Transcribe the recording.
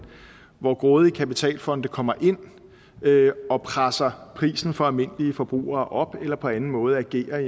hvor grådige kapitalfonde kommer ind og presser prisen for almindelige forbrugere op eller på anden måde agerer